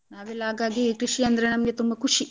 ನಾವೆಲ್ಲ ಹಾಗಾಗಿ ಕೃಷಿ ಅಂದ್ರೆ ನಮ್ಗೆ ತುಂಬ ಖುಷಿ.